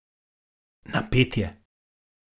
Napet je.